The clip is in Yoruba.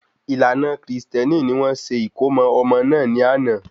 Ìlànà Kristẹni ni wọ́n ṣe ìkómo ọmọ náà ni ana